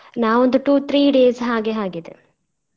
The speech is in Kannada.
ನಾವ್ ಒಂದು two three days ಹಾಗೆ ಆಗಿದೆ .